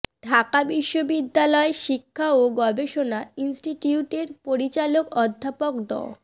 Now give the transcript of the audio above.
ঢাকা বিশ্ববিদ্যালয় শিক্ষা ও গবেষণা ইনস্টিটিউটের পরিচালক অধ্যাপক ড